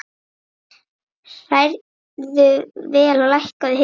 Hrærðu vel og lækkaðu hitann.